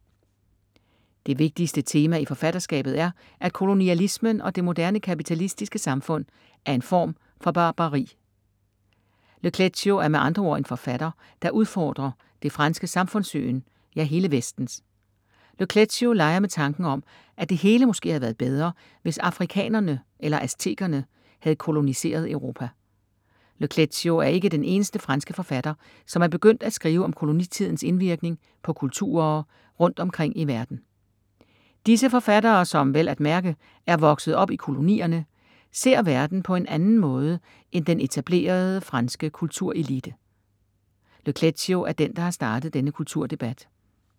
Det vigtigste tema i forfatterskabet er, at kolonialismen og det moderne kapitalistiske samfund er en form for barbari. Le Clézio er med andre ord en forfatter, der udfordrer det franske samfundssyn, ja hele vestens. Le Clézio leger med tanken om, at det hele måske havde været bedre, hvis afrikanerne eller aztekerne, havde koloniseret Europa. Le Clézio er ikke den eneste franske forfatter som er begyndt at skrive om kolonitidens indvirkning på kulturer rundt omkring i verden. Disse forfattere som, vel at mærke, er vokset op i kolonierne, ser verden på en anden måde end den etablerede franske kulturelite. Le Clézio er den, der har startet denne kulturdebat.